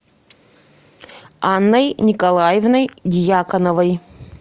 анной николаевной дьяконовой